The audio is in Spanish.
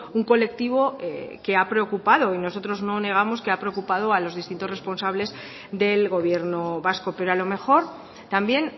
un colectivo que ha preocupado y nosotros no negamos que ha preocupado a los distintos responsables del gobierno vasco pero a lo mejor también